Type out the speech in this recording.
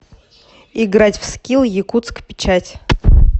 играть в скилл якутск печать